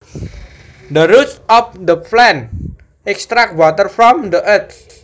The roots of the plant extract water from the earth